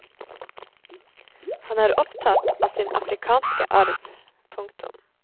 Han er opptatt av sin afrikanske arv. punktum